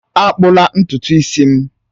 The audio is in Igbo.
Akpụla ntutu isi m!